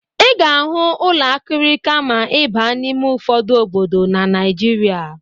Ị ga-ahụ ụlọ akịrịka ma ị baa n'ime ụfọdụ obodo na Naịjirịa.